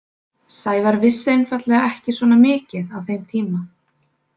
Sævar vissi einfaldlega ekki svona mikið á þeim tíma.